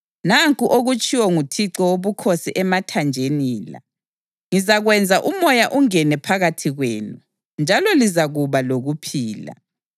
Nanku okutshiwo nguThixo Wobukhosi emathanjeni la: Ngizakwenza umoya ungene phakathi kwenu, njalo lizakuba lokuphila.